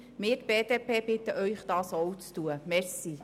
Wir als BDP bitten Sie, dies ebenfalls zu tun.